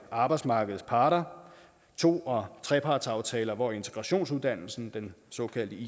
arbejdsmarkedets parter to og trepartsaftaler hvor integrationsuddannelsen den såkaldte